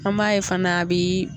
An m'a ye fana a bii